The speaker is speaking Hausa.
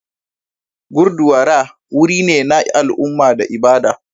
Gurdwara wuri ne na al'umma da ibada.